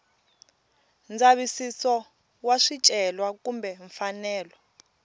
ndzavisiso wa swicelwa kumbe mfanelo